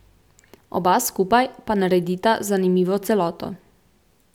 Oba skupaj pa naredita zanimivo celoto.